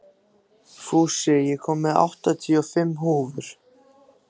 Fúsi, ég kom með áttatíu og fimm húfur!